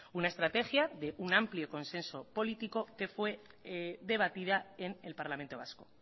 una estrategia de un amplio consenso político que fue debatida en el parlamento vasco